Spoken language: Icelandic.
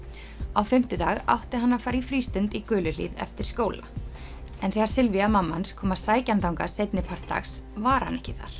á fimmtudag átti hann að fara í frístund í eftir skóla þegar Sylwia mamma hans kom að sækja hann þangað seinni part dags var hann ekki þar